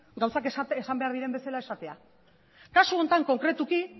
gauzak esan behar diren bezala esatea kasu honetan konkretuki